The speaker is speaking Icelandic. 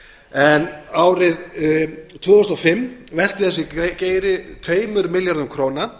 en árið tvö þúsund og fimm velti þessi geiri tveimur milljörðum króna